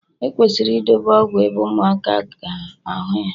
ekwesịrị idobe ọgwụ ebe ụmụaka a ga ahu ya